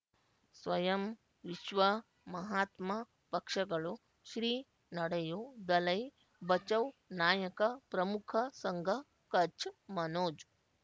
ಸ್ವಯಂ ವಿಶ್ವ ಮಹಾತ್ಮ ಪಕ್ಷಗಳು ಶ್ರೀ ನಡೆಯೂ ದಲೈ ಬಚೌ ನಾಯಕ ಪ್ರಮುಖ ಸಂಘ ಕಚ್ ಮನೋಜ್